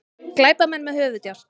Glæpamenn með höfuðdjásn